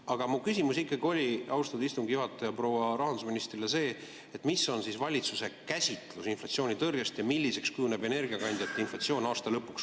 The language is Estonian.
Aga mu küsimus proua rahandusministrile oli see, austatud istungi juhataja, et milline on valitsuse käsitlus inflatsioonitõrjest ja milliseks kujuneb energiakandjate inflatsioon aasta lõpuks.